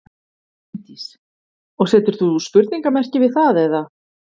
Bryndís: Og setur þú spurningamerki við það eða?